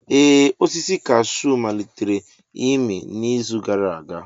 Ee osisi cashew malitere ịmị n'izu gara aga.